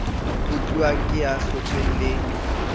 utluwang ke ya hlotsweng le